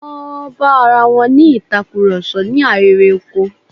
Wọ́n bá arawọn ní ìtakurọ̀sọ̀ ní ahéré oko.